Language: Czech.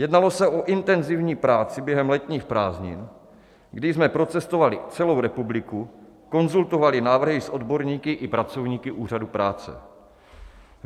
Jednalo se o intenzivní práci během letních prázdnin, kdy jsme procestovali celou republiku, konzultovali návrhy s odborníky i pracovníky Úřadu práce.